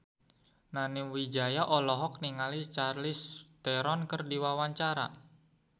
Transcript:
Nani Wijaya olohok ningali Charlize Theron keur diwawancara